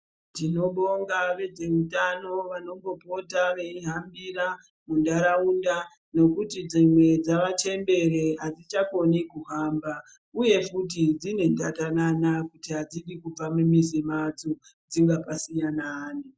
Tinobonga vezveutano vanombopota veihambira munharaunda nekuti dzimwe dzavachembere hadzichakoni kuhamba. Uye futi dzine ndatanana yekuti hadzidi kubva pamizi yadzo, dzingapasiya naani.